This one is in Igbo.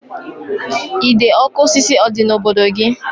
Ide ọkụ osisi ọ dị n'obodo gị?